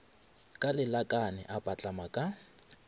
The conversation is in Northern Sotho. ka lelakane a patlama ka